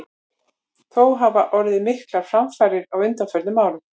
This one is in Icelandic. Þó hafa orðið miklar framfarir á undanförnum árum.